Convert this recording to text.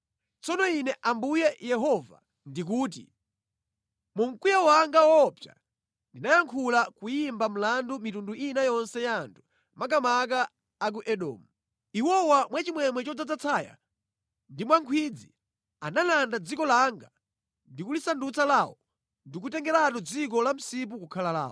Tsono Ine Ambuye Yehova ndikuti: Mu mkwiyo wanga woopsa ndinayankhula kuyimba mlandu mitundu ina yonse ya anthu makamaka a ku Edomu. Iwowa mwa chimwemwe chodzaza tsaya ndi mwa nkhwidzi analanda dziko langa ndi kulisandutsa lawo ndi kutengeratu dziko la msipu kukhala lawo.’